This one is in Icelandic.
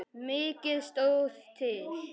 Mikið stóð til.